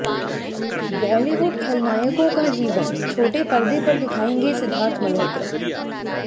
बॉलीवुड खलनायकों का जीवन छोटे पर्दे पर दिखाएंगे सिद्धार्थ मल्होत्रा